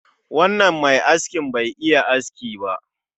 Wannan mai askin Bai iya aski ba